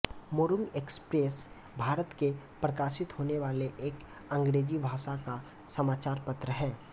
Morung express Bharat में प्रकाशित होने वाला एक अंग्रेजी भाषा का समाचार पत्र है